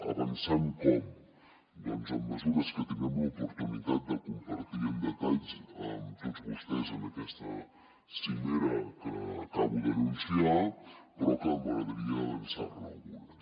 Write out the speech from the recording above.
avançant com doncs amb mesures que tindrem l’oportunitat de compartir amb detall amb tots vostès en aquesta cimera que acabo d’anunciar però que m’agradaria avançar ne algunes